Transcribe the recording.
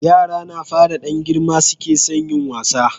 yara na fara Dan girma suke son yin wasa